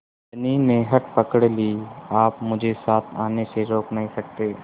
धनी ने हठ पकड़ ली आप मुझे साथ आने से रोक नहीं सकते